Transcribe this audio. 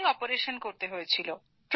তাই অপারেশন করতে হয়েছিল